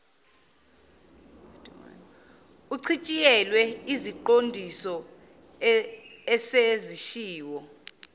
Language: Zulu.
uchitshiyelwe iziqondiso esezishiwo